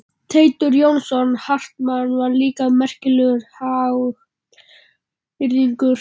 Teitur Jónsson Hartmann var líka merkilegur hagyrðingur.